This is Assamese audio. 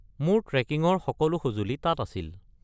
মোৰ ট্ৰেকিঙৰ সকলো সঁজুলি তাত আছিল।